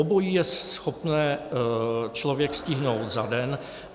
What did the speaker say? Obojí je schopné člověk stihnout za den.